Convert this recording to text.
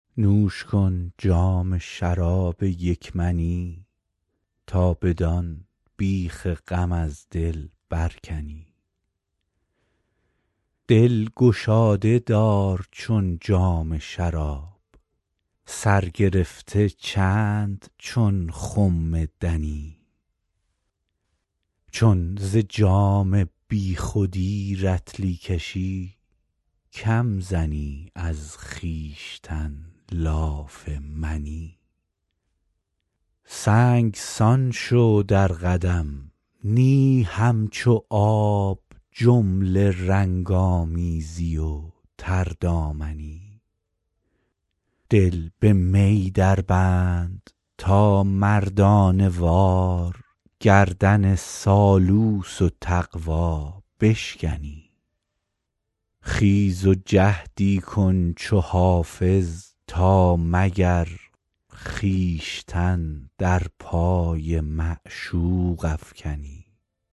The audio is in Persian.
نوش کن جام شراب یک منی تا بدان بیخ غم از دل برکنی دل گشاده دار چون جام شراب سر گرفته چند چون خم دنی چون ز جام بی خودی رطلی کشی کم زنی از خویشتن لاف منی سنگسان شو در قدم نی همچو آب جمله رنگ آمیزی و تردامنی دل به می دربند تا مردانه وار گردن سالوس و تقوا بشکنی خیز و جهدی کن چو حافظ تا مگر خویشتن در پای معشوق افکنی